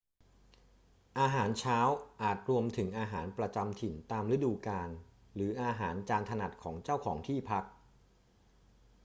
อาหารเช้าอาจรวมถึงอาหารประจำถิ่นตามฤดูกาล หรืออาหารจานถนัดของเจ้าของที่พัก